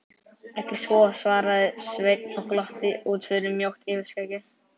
Ekki svo, svaraði Sveinn og glotti út fyrir mjótt yfirskeggið.